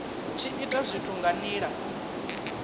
tshi ita zwithu nga nila